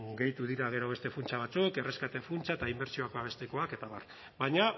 gehitu dira gero beste funtsa batzuk erreskate funtsa eta inbertsioak babestekoak eta abar baina